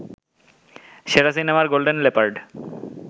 সেরা সিনেমার golden leopard